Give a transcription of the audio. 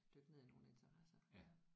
Dykke ned i nogle interesser iggå